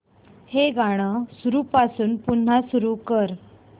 हे गाणं सुरूपासून पुन्हा सुरू कर